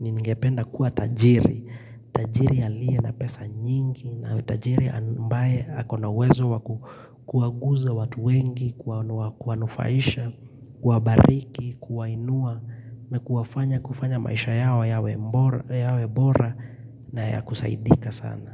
ningependa kuwa tajiri. Tajiri aliye na pesa nyingi na tajiri ambaye akona uwezo wakua kuaguza watu wengi, kuwanufaisha, kubariki, kuwainua na kufanya maisha yao yawe bora na yakusaidika sana.